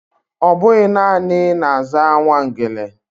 Ọbụghị naanị na-aza Nwangele